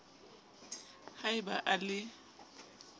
ha e ba a le